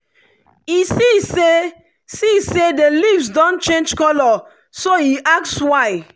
e see say see say the leaves don change colour so e ask why.